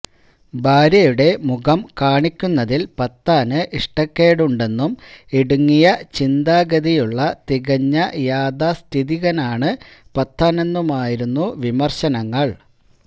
ഭാര്യയുടെ മുഖം കാണിക്കുന്നതില് പത്താന് ഇഷ്ടക്കേടുണ്ടെന്നും ഇടുങ്ങിയ ചിന്താഗതിയുള്ള തികഞ്ഞ യാഥാസ്ഥിതികനാണ് പത്താനെന്നുമായിരുന്നു വിമര്ശങ്ങള്